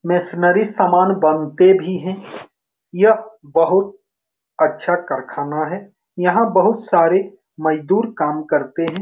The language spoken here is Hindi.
मैसनरी सामान बनते भी हैं यह बहुत अच्छा कारखाना है यहाँ बहुत सारे मजदूर काम करते हैं ।